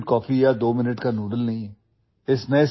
یہ فوری کافی یا دو منٹ کے نوڈلز نہیں ہیں